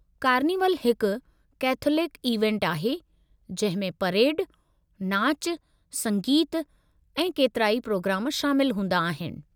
कार्निवलु हिकु कैथोलिक इवेंटु आहे जंहिं में परेड, नाचु, संगीतु ऐं केतिराई पिरोग्राम शामिल हूंदा आहिनि।